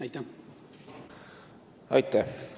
Aitäh!